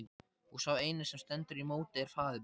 Og sá eini sem stendur í móti er faðir minn!